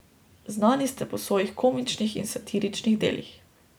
Znani ste po svojih komičnih in satiričnih delih.